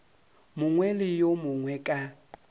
mongwe le yo mongwe ka